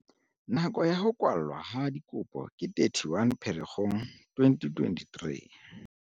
Nako ya ho kwallwa ha dikopo ke 31 Pherekgong 2023.